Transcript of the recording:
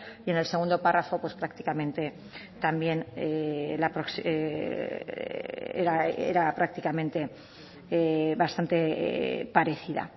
y en el segundo párrafo pues prácticamente también era prácticamente bastante parecida